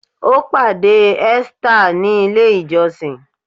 Ó pàdé Esther ní ilè ìjósìn.